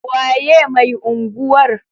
Waye mai unguwar?